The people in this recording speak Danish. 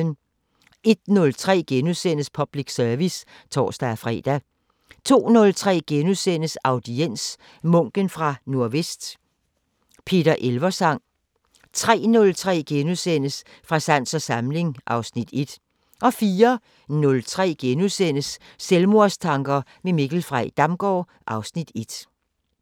01:03: Public service *(tor-fre) 02:03: Audiens: Munken fra Nordvest – Peter Elversang * 03:03: Fra sans og samling (Afs. 1)* 04:03: Selvmordstanker med Mikkel Frey Damgaard (Afs. 1)*